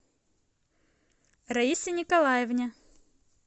раисе николаевне